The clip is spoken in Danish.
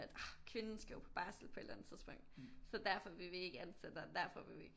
Kvinden skal jo på barsel på et eller andet tidspunkt så derfor vil vi ikke ansætte og derfor vil vi ikke